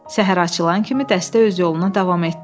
Səhər açılan kimi dəstə öz yoluna davam etdi.